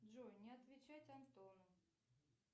джой не отвечать антону